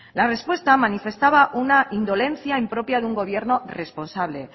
la respuesta manifestaba una indolencia impropia de un gobierno responsable